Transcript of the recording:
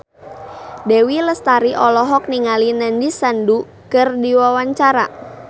Dewi Lestari olohok ningali Nandish Sandhu keur diwawancara